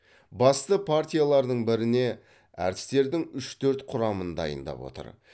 басты партиялардың біріне әртістердің үш төрт құрамын дайындап отыр